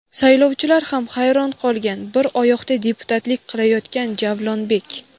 "Saylovchilar ham hayron qolgan" - bir oyoqda deputatlik qilayotgan Javlonbek.